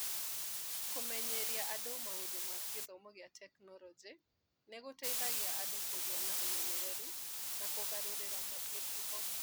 Kũmenyeria andũ maũndũ ma gĩthomo ma tekinoronjĩ nĩ gũteithagia andũ kũgĩa na ũmenyeru na kũgarũrĩra mĩtugo.